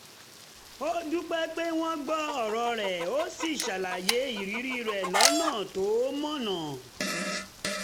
ó dúpẹ́ pé wọ́n gbọ́ ọ̀rọ̀ rẹ̀ ó sì ṣàlàyé ìrírí rẹ̀ lọ́nà tó mọ̀nà